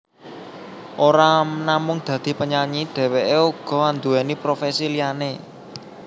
Ora namung dadi penyanyi dheweké uga anduweni profesi liyané